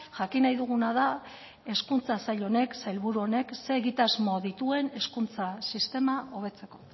jakin nahi duguna da hezkuntza sail honek sailburu honek ze egitasmo dituen hezkuntza sistema hobetzeko